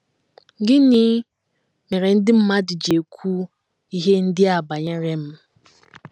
Gịnị mere ndị mmadụ ji ekwu ihe ndị a banyere m?